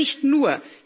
Aber nicht nur.